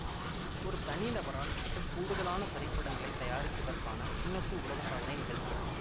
ஒரு தனிநபரால் மிக கூடுதலான திரைப்படங்களை தயாரித்ததற்கான கின்னசு உலக சாதனை நிகழ்த்தியவர்